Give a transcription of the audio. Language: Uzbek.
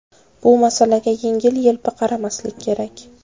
Bu masalaga yengil-yelpi qaramaslik kerak.